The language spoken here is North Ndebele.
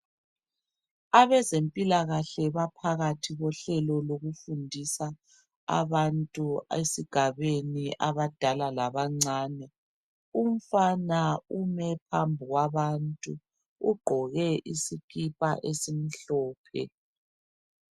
Abezempilakahle baphakathi kohlelo lokufundisa abantu esigabeni abadala labancane umfana ume phambi kwabantu ugqoke isikipa esimhlophe.